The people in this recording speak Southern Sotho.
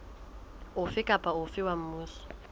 ofe kapa ofe wa mmuso